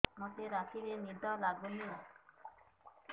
ମୋତେ ରାତିରେ ନିଦ ଲାଗୁନି